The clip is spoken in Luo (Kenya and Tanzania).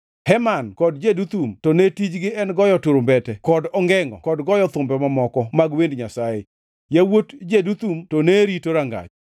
Heman kod Jeduthun to ne tijgi en goyo turumbete kod ongengʼo kod goyo thumbe mamoko mag wend Nyasaye. Yawuot Jeduthun to ne rito rangach.